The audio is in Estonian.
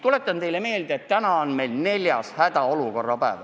Tuletan teile meelde, et täna on neljas hädaolukorra päev.